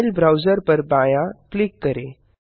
file browser पर बायाँ click करें